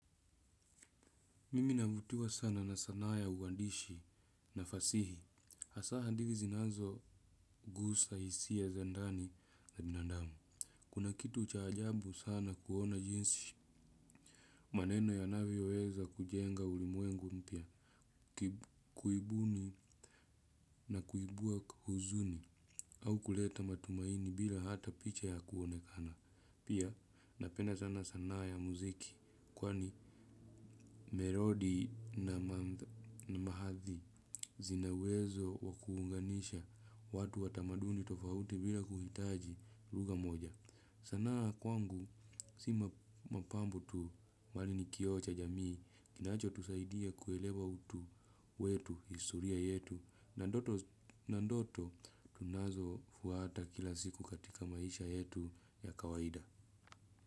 Mimi navutiwa sana na sanaa ya uandishi na fasihi. Hasa hadithi zinazo guza hisia za ndani na binandamu. Kuna kitu cha ajabu sana kuona jinsi maneno yanavyoweza kujenga ulimwengu mpya. Kuibuni na kuibua huzuni. Au kuleta matumaini bila hata picha ya kuonekana. Pia napenda sana sanaa ya mziki. Kwani imerudi na baadhi. Zina uwezo wa kuunganisha watu wa tamaduni tofauti bila kuhitaji lugha moja. Sanaa kwangu si mapambano tu mbali ni kioo cha jamii. Kinacho tusaidia kuelewa utu wetu historia yetu. Na ndoto tunazo fuata kila siku katika maisha yetu ya kawaida.